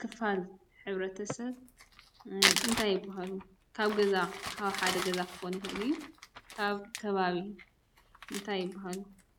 ክፋል ሕብረተሰብ እንታይ ይብሃሉ? ካብ ገዛ ካብ ሓደ ገዛ ክኾን ይኽእል እዩ ኣብ ከባቢ እንታይ ይብሃሉ?